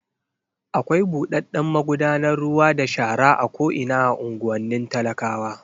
Akwai buɗaɗɗen magudanar ruwa da shara a ko'ina a unguwannin talakawa.